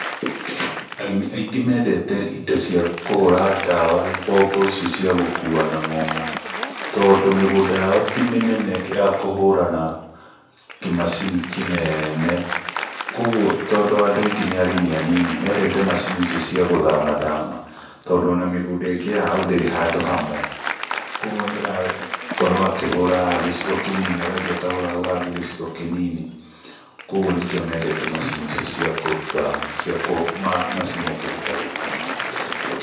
Arĩmi aingĩ mendete indo cia kũhũra ndawa mbombo ici cia gũkua na ng'ong'o, tondũ mĩgũnda yao ti mĩnene ya kũhũra na kĩmacini kĩnene. Kũguo tondũ andũ aingĩ nĩ arĩmi anini, mendete macini icio cia gũthama thama tondũ ona mĩgũnda ĩngĩ yao ndĩrĩ handũ hamwe. Kũguo nĩ ĩrakorwo akĩhũra haha gĩcigo kĩnini, agathiĩ akahũra hau hangĩ gĩcigo kĩnini. Kũguo nĩkĩo mendete macini icio cia kũthama, cia, macini angĩhota gũkua.